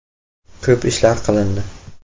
“Ko‘p ishlar qilindi.